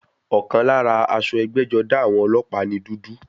Ọ̀kan lára aṣọ ẹgbẹ́-jọdá àwọn ọlọ́pàá ni dúdú.